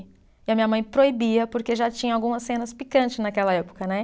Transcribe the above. E a minha mãe proibia, porque já tinha algumas cenas picantes naquela época, né?